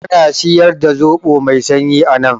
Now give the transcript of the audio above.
Ana siyar da zoɓo mai sanyi anan?